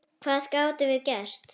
Hvað gátum við gert?